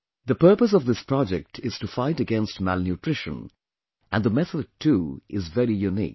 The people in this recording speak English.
The purpose of this project is to fight against malnutrition and the method too is very unique